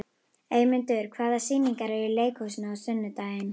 Eymundur, hvaða sýningar eru í leikhúsinu á sunnudaginn?